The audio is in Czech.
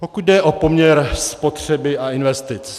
Pokud jde o poměr spotřeby a investic.